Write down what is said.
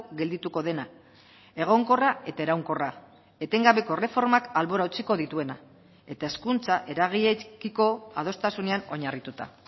geldituko dena egonkorra eta iraunkorra etengabeko erreformak albora utziko dituena eta hezkuntza eragileekiko adostasunean oinarrituta